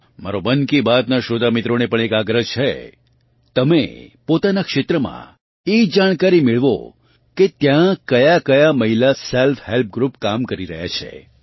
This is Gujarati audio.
મારો મન કી બાત નાં શ્રોતા મિત્રોને પણ એક આગ્રહ છે તમે પોતાના ક્ષેત્રમાં એ જાણકારી મેળવો કે ત્યાં કયાકયા મહિલા સેલ્ફ હેલ્પ ગ્રૃપ કામ કરી રહ્યાં છે